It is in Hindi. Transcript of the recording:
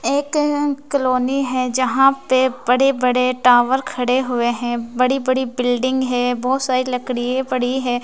एक कअ कॉलोनी हैं जहाँ पे बड़े बड़े टावर खड़े हुए हैं बड़ी बड़ी बिल्डिंग हैं बहुत सारी लकडीये पड़ी हैं।